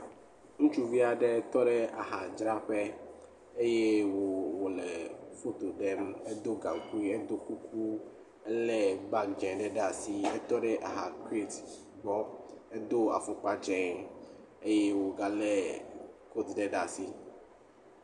Ŋutsuvi aɖe tɔ ɖe ahadzraƒe eye wo wole foto ɖem. Edo gaŋkui. Edo kuku. Ele bagi dze ɖe asi etɔ ɖe aha kreti gbɔ. Edo afɔkpa dze eye woga le koti ɖe ɖe asi.